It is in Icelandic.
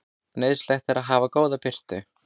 Nauðsynlegt er að hafa góða birtu.